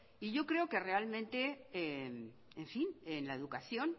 y yo creo que realmente en fin en la educación